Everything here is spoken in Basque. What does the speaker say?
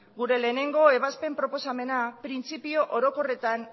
gure lehenengo ebazpen proposamena printzipio orokorretan